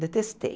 Detestei.